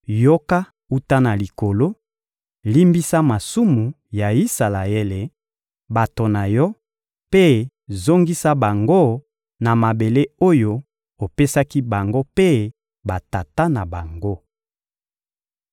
yoka wuta na Likolo, limbisa masumu ya Isalaele, bato na Yo, mpe zongisa bango na mabele oyo opesaki bango mpe batata na bango!